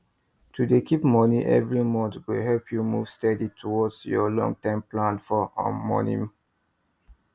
to dey keep money every monthgo help you move steady towards your long term plan for um money